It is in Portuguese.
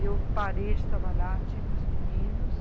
E eu parei de trabalhar, tive os meninos.